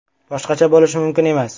Boshqacha bo‘lishi mumkin emas!